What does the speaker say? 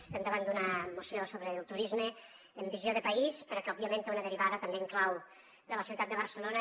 estem davant d’una moció sobre el turisme amb visió de país però que òbviament té una derivada també en clau de la ciutat de barcelona